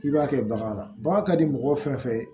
I b'a kɛ bagan na bagan ka di mɔgɔ fɛn fɛn ye